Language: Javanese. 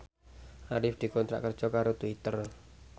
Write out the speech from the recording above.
Arif dikontrak kerja karo Twitter